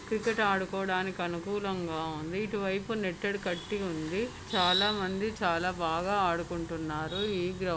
Cricket ఆడుకోవటానికి అనుకూలంగా ఉంది. ఇటువైపు నెట్ అది కట్టి ఉంది. చాలా మంది చాలా బాగా ఆడుకుంటున్నారు. ఈ గ్రౌండ్ --